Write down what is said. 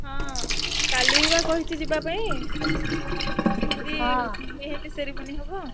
ହଁ କାଲି ବା କହିଛି ଯିବା ପାଇଁ ମେହେନ୍ଦୀ ମେହେନ୍ଦୀ ceremony ହବ।